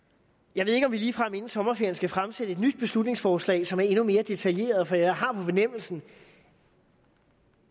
jeg ved ikke om vi ligefrem inden sommerferien skal fremsætte et nyt beslutningsforslag som er endnu mere detaljeret for jeg har på fornemmelsen